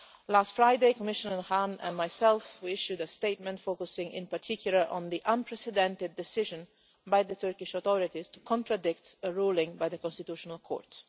Last Friday, Commissioner Hahn and I issued a statement focusing in particular on the unprecedented decision by the Turkish authorities to contradict a ruling by the Constitutional Court.